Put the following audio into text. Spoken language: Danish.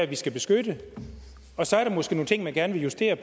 vi skal beskytte så er der måske nogle ting man gerne vil justere